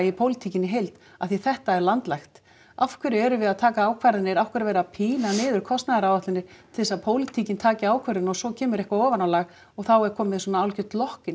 pólitíkinni í heild af því að þetta er landlægt af hverju erum við að taka ákvarðanir af hverju er verið að pína niður kostnaðaráætlanir til þess að pólitíkin taki ákvörðun og svo kemur eitthvað ofanálag og þá er komið svona hálfgert